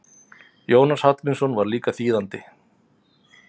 Jónas Hallgrímsson var líka þýðandi.